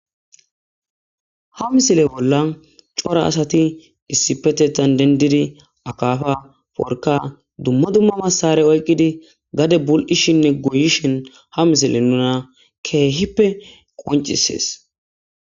ha misile bolla cora asati issipetetan dendidi akafa porka dumma dumma massare oyqqidi gade bul7ishinne goyishin ha misile nuna keehippe qoncisees